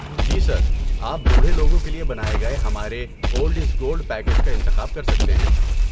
جی sir. آپ بوڑھے لوگوں کے لیے بنائے گئے ہمارے 'اولڈ از گولڈ' پیکیج کا انتخاب کر سکتے ہیں۔